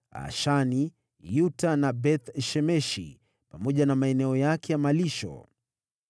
Ashani, Yuta na Beth-Shemeshi pamoja na maeneo yake ya malisho.